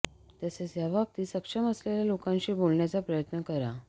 तसेच या बाबतीत सक्षम असलेल्या लोकांशी बोलण्याचा प्रयत्न करा